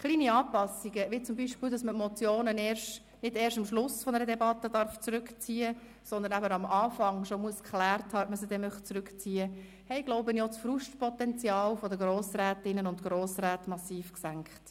Kleine Anpassungen, beispielsweise, dass man Motionen nicht erst am Schluss einer Debatte zurückziehen darf, sondern bereits am Anfang geklärt haben muss, ob man sie zurückziehen will, haben wohl auch das Frustpotenzial der Grossrätinnen und Grossräte massiv gesenkt.